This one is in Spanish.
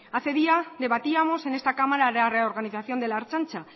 hace días debatíamos en esta cámara la reorganización de la ertzaintza